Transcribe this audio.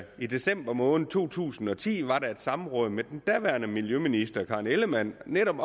i december måned to tusind og ti var der et samråd med den daværende miljøminister fru karen ellemann netop